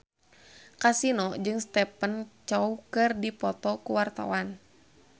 Kasino jeung Stephen Chow keur dipoto ku wartawan